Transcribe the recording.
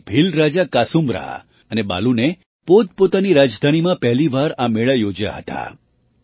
ત્યારે ભીલ રાજા કાસૂમરા અને બાલૂને પોતપોતાની રાજધાનીમાં પહેલી વાર આ મેળા યોજ્યા હતા